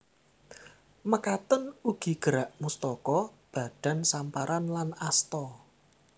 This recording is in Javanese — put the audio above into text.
Mekaten ugi gerak mustaka badan samparan lan asta